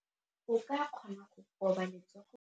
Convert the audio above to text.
O ka kgona go koba letsogo